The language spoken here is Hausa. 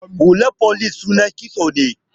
Hular folice sunan kitso ne.